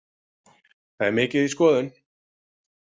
Það er mikið í skoðun.